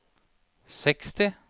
seksti